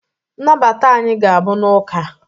nnabata anyị ga-abụ n'ụka